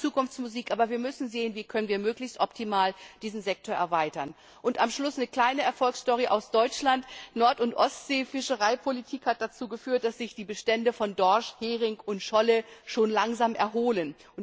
Das ist zwar Zukunftsmusik, aber wir müssen sehen, wie wir möglichst optimal diesen Sektor erweitern können. Am Schluss eine kleine Erfolgsstory aus Deutschland Nord und Ostseefischereipolitik hat dazu geführt, dass sich die Bestände von Dorsch, Hering und Scholle schon langsam erholen.